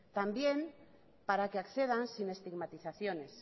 también para que accedan sin estigmatizaciones